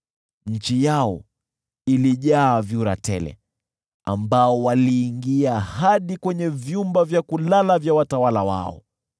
Nchi yao ilijaa vyura tele, ambao waliingia hadi kwenye vyumba vya kulala vya watawala wao.